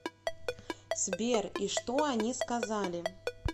сбер и что они сказали